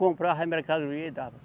Comprava a mercadoria e dava.